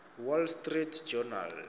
wall street journal